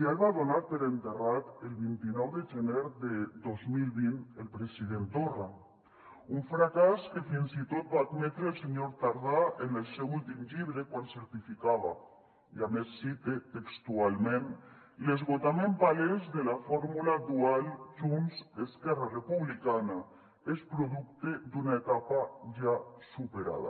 ja el va donar per enterrat el vint nou de gener de dos mil vint el president torra un fracàs que fins i tot va admetre el senyor tardà en el seu últim llibre quan certificava i a més cite textualment l’esgotament palès de la fórmula dual junts esquerra republicana és producte d’una etapa ja superada